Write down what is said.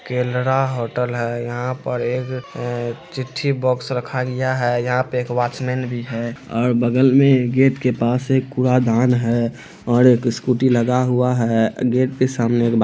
Kerala hotel है यहा पर एक अ चिट्ठी बॉक्स रखा लिया है यहा पर एक वॉचमैन भी है और बगल मैं गेट के पास एक कूड़ादान है और एक स्कूटी लगा हुआ है। गेट के सामने एक बा--